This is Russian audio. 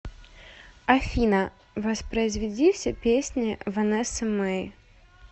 афина воспроизведи все песни ванессы мей